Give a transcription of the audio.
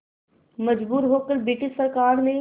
मजबूर होकर ब्रिटिश सरकार ने